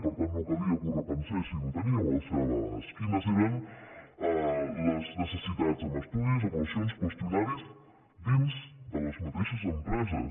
per tant no calia que repensessin ho tenien al seu abast quines eren les necessitats amb estudis avaluacions qüestionaris dins de les mateixes empreses